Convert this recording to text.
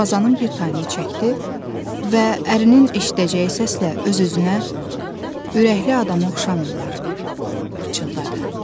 Darvazanın bir tayını çəkdi və ərinin eşidəcəyi səslə öz-özünə ürəkli adama oxşamırlar pıçıldadı.